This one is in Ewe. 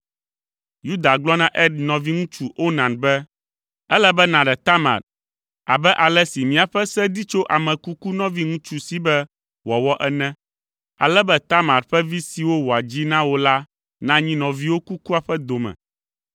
Yuda gblɔ na Er nɔviŋutsu Onan be, “Ele be nàɖe Tamar abe ale si míaƒe se di tso ame kuku nɔviŋutsu si be wòawɔ ene, ale be Tamar ƒe vi siwo wòadzi na wò la nanyi nɔviwò kukua ƒe dome.”